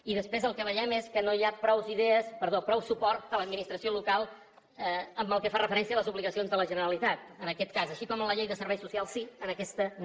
i després el que veiem és que no hi ha prou suport a l’administració local pels que fa referència a les obligacions de la generalitat en aquest cas així com la llei de serveis socials sí en aquesta no